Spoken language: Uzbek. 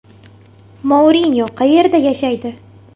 Mourinyo qayerda yashaydi?